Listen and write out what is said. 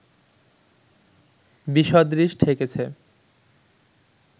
বিসদৃশ ঠেকেছে